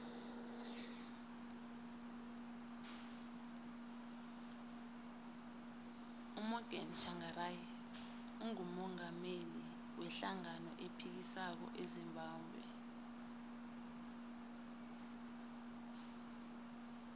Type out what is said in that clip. umorgan tshangari ngumungameli we hlangano ephikisako ezimbabwe